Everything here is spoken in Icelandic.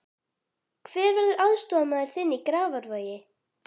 Hver verður aðstoðarmaður þinn í Grafarvogi?